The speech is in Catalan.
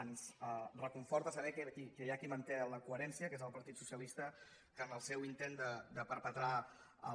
ens reconforta saber que hi ha qui manté la coherència que és el partit socialista que en el seu intent de perpetrar el